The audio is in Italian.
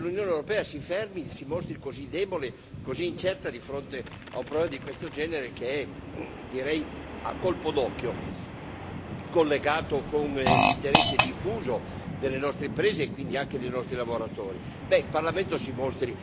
È incredibile che l'Unione europea si fermi, si mostri così debole, così incerta, di fronte a un problema di questo genere, che è, direi a colpo d'occhio, collegato con un interesse diffuso delle nostre imprese e quindi anche dei nostri lavoratori.